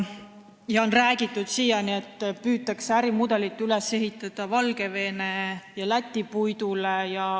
Siiani on räägitud, et ärimudelit püütakse üles ehitada Valgevene ja Läti puidule.